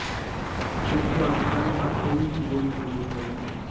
ਦੋਸਤੋਂ ਅੱਜ ਕੱਲ੍ਹ ਹਰ ਕੋਈ ਗੋਰੀ ਚਮੜੀ ਚਾਹੁੰਦਾ ਹੈ